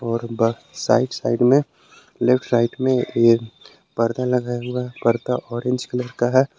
और ब side side में लेफ्ट साइड में एक पर्दा लगा हुआ है पर्दा ऑरेंज कलर का है।